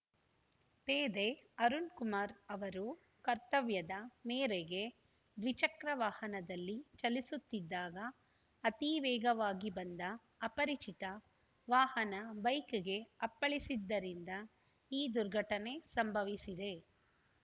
ಪೇದೆ ಅರುಣ್‌ಕುಮಾರ್ ಅವರು ಕರ್ತವ್ಯದ ಮೇರೆಗೆ ದ್ವಿಚಕ್ರ ವಾಹನದಲ್ಲಿ ಚಲಿಸುತ್ತಿದ್ದಾಗ ಅತಿ ವೇಗವಾಗಿ ಬಂದ ಅಪರಿಚಿತ ವಾಹನ ಬೈಕ್‌ಗೆ ಅಪ್ಪಳಿಸಿದ್ದರಿಂದ ಈ ದುರ್ಘಟನೆ ಸಂಭವಿಸಿದೆ